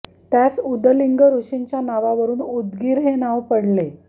त्यास उदलिंग ॠषींच्या नावावरून उदगीर हे नाव पडले